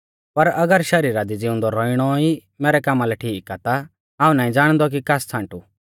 पर अगर शरीरा दी ज़िउंदौ रौइणौ ई मैरै कामा लै ठीक आ ता हाऊं नाईं ज़ाणदौ कि कास छ़ांटु